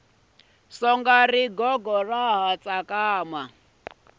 songa rigogo ra ha tsakama